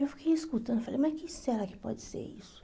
Eu fiquei escutando, falei, mas que será que pode ser isso?